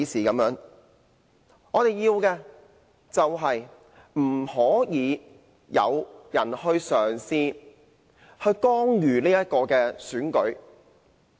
我們的要求是不應有任何人嘗試干預選舉。